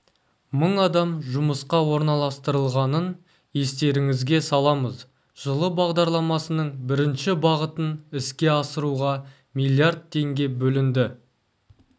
мың адам жұмысқа орналастырылғанын естеріңізге саламыз жылы бағдарламасының бірінші бағытын іске асыруға миллиард теңге бөлінді